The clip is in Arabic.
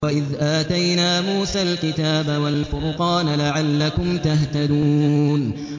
وَإِذْ آتَيْنَا مُوسَى الْكِتَابَ وَالْفُرْقَانَ لَعَلَّكُمْ تَهْتَدُونَ